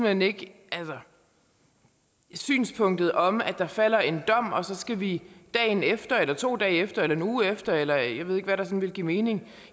hen ikke synspunktet om at når der falder en dom skal vi dagen efter eller to dage efter eller en uge efter eller jeg ved ikke hvad der så ville give mening